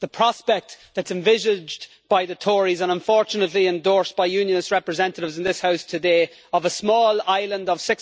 The prospect that is envisaged by the Tories, and unfortunately endorsed by Unionist representatives in this House today, of a small island of